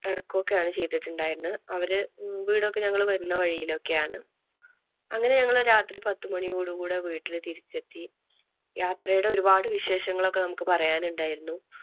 ഇറക്കുകൊക്കെയാണ് ചെയ്തിട്ടുണ്ടായിരുന്നത് അവര് വീട് ഒക്കെ ഞങ്ങള് വരുന്ന വഴിയിൽ ഒക്കെ ആണ്. അങ്ങനെ ഞങ്ങള് രാത്രി പത്തുമണിയോടുകുടെ വീട്ടില് തിരിച്ചെത്തി. യാത്രയുടെ ഒരുപാട് വിശേഷങ്ങൾ ഒക്കെ നമുക്ക് പറയാൻ ഉണ്ടായിരുന്നു.